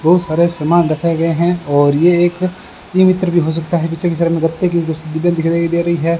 बहुत सारे सामान रखे गए हैं और ये एक ई मित्र भी हो सकता है पीछे की तरफ मे गत्ते की कुछ डिब्बे दिखाई दे रही है।